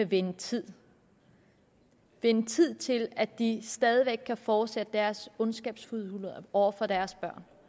vinde tid vinde tid til at de stadig væk kan fortsætte deres ondskabsfuldheder over for deres